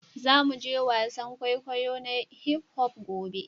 Za mu je wasan kwaikwayo na hip-hop gobe